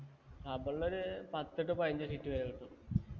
rubber ല് ഒരു പത്തൊക്കെ പതിനഞ്ച്‌ sheet വരെ കിട്ടും